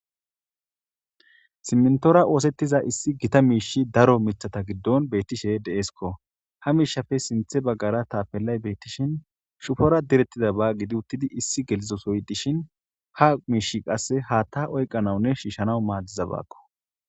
Simenthoora ooseththiza issi githa miishi daro mithatha giddon beththishe de7eesikko; ha miishafe sinthe baggara thaafellay beeththishin shufora direththidaba gidi uththidi issi gelizo sohoy dishin ha miishshi qassi haaththaa oyqanawunne shiishshanawu maadizabakko.